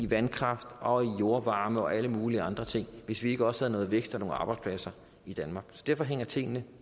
vandkraft og jordvarme og alle mulige andre ting hvis vi ikke også havde noget vækst og nogle arbejdspladser i danmark derfor hænger tingene